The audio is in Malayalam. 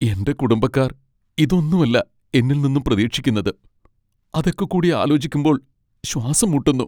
എൻ്റെ കുടുംബക്കാർ ഇതൊന്നും അല്ല എന്നിൽനിന്നും പ്രതീക്ഷിക്കുന്നത്, അതൊക്കെക്കൂടി ആലോചിക്കുമ്പോൾ ശ്വാസം മുട്ടുന്നു.